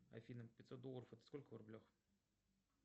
афина пятьсот долларов это сколько в рублях